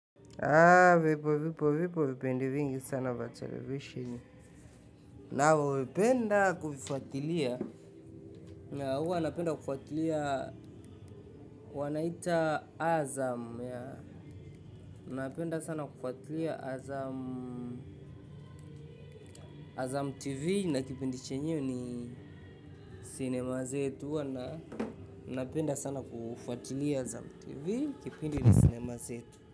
Hapa vipo vipindi vingi sana vya televisheni. Navyovipenda kuvifuatilia. Na huwa napenda kufuatilia. Wanaita Azam yeah. Napenda sana kufuatilia Azam Azam TV na kipindi chenyewe ni sinema zetu wana. Napenda sana kufuatilia Azam TV. Kipindi ni Sinema Zetu.